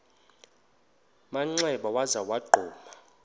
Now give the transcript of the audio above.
manxeba waza wagquma